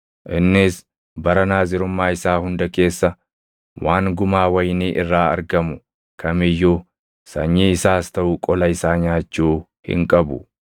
Innis bara Naazirummaa isaa hunda keessa waan gumaa wayinii irraa argamu kam iyyuu sanyii isaas taʼu qola isaa nyaachuu hin qabu.